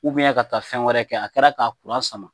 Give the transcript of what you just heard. ka taa fɛn wɛrɛ kɛ, a kɛra ka kuran sama.